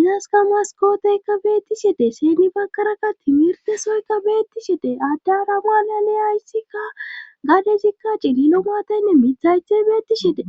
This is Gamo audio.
izaska maskooteykka beettiside seni bakarakka timirte soyka beettisidee adda rabalale ayssikka gadezikka cililomaataynne mithaythey beettishide.